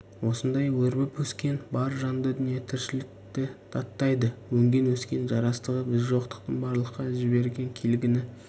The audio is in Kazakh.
осындай өрбіп өскен бар жанды дүние тіршілікті даттайды өнген өскен жарастығы біз жоқтықтың барлыққа жіберген келгіні